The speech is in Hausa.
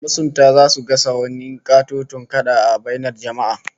Masunta zasu gasa wani katoton kada a bainar jama'a